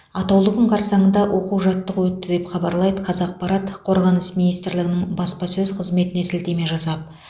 атаулы күн қарсаңында оқу жаттығу өтті деп хабарлайды қазақпарат қорғаныс министрлігінің баспасөз қызметіне сілтеме жасап